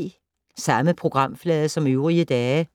Samme programflade som øvrige dage